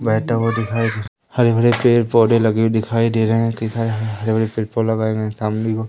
बैठा हुआ दिखाइ हरे भरे पेड़ पौधे लगे हुए दिखाई दे रहे हैं किधर हरे भरे पेड़ पौ लगाए गए है सामने ओ--